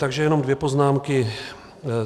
Takže jenom dvě poznámky.